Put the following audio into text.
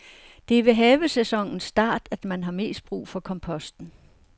Det er ved havesæsonens start, at man har mest brug for komposten.